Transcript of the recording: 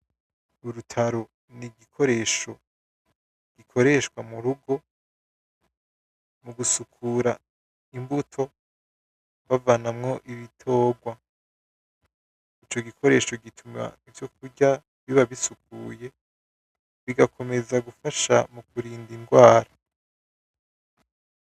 Urutaro ni igikoresho gikoreshwa mu rugo , mu gusukura imbuto bavanamwo ibitorwa , ico gikoresha gituma ivyo kurya biba bisukuye , bigakomeza gufasha mu kurinda indwara.